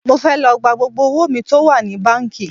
Mo fẹ́ lọ gba gbogbo owó mi tó wà ní báńkì